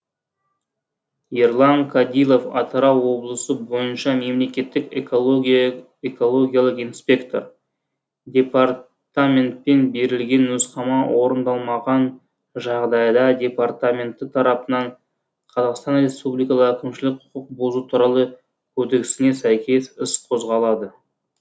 ерлан кадилов атырау облысы бойынша мемлекеттік экологиялық инспектор департаментпен берілген нұсқама орындалмаған жағдайда департамент тарапынан қр әкімшілік құқық бұзу туралы кодексіне сәйкес іс қозғалады